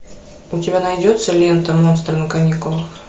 у тебя найдется лента монстры на каникулах